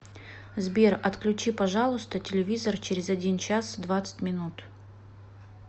сбер отключи пожалуйста телевизор через один час двадцать минут